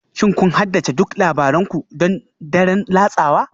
Shin kun haddace duk labaran ku don daren latsawa?